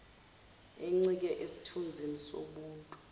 encike esithunzini sobuntu